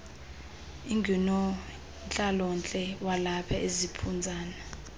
ingunontlalontle walapha eziphunzana